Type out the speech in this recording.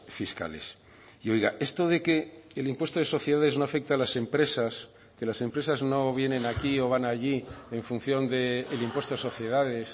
fiscales y oiga esto de que el impuesto de sociedades no afecta a las empresas que las empresas no vienen aquí o van allí en función del impuesto de sociedades